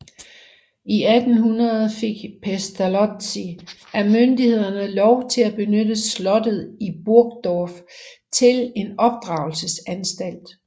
I 1800 fik Pestalozzi af myndighederne lov til at benytte slottet i Burgdorf til en opdragelsesanstalt